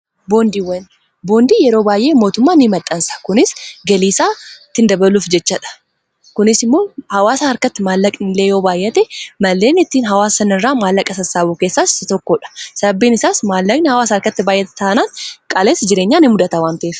Boondiin yeroo baay'ee mootummaa maxxansa kunis galiisaa tiin dabaluuf jechadha kunis immoo hawaasa harkatti maallaq inle yoo baayyate malleen ittiin hawaasan irraa maallaqa sassaawuu keessaa si tokkoodha sababbiin isaas maallaqni hawaasa harkatti baayate taanaas qaalessi jireenyaan in mudhata waan ta'eef.